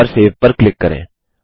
और सेव पर क्लिक करें